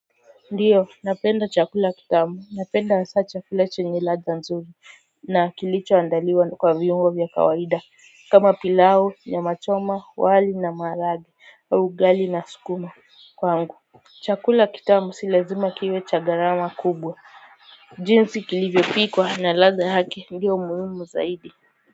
Ndiyo napenda chakula kitamu, napenda hasa chakula chenye ladha nzuri. Na kilichoandaliwa kwa viungo vya kawaida. Kama pilau, nyama choma, wali na maharage au ugali na sukuma. Kwangu chakula kitamu si lazima kiwe cha gharama kubwa. Jinsi kilivyo pikwa na ladha yake, ndiyo muhimu zaidi.